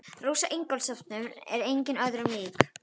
Rósa Ingólfsdóttir er engum öðrum lík.